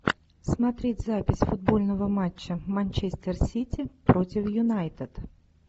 смотреть запись футбольного матча манчестер сити против юнайтед